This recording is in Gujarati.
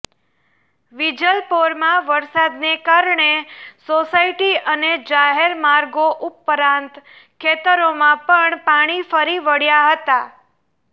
વિજલપોરમાં વરસાદને કારણે સોસાયટી અને જાહેર માર્ગો ઉપરાંત ખેતરોમાં પણ પાણી ફરી વળ્યા હતા